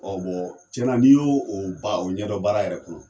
tiɲɛna n'i y'o o ba o ɲɛ dɔn baara yɛrɛ kɔnɔ.